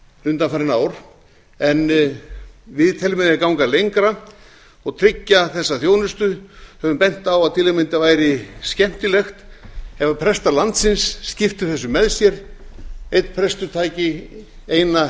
undanfarin ár en við teljum að ganga eigi lengra og tryggja þessa þjónustu höfum bent á að til að mynda væri skemmtilegt ef prestar landsins skiptu þessu með sér einn prestur tæki eina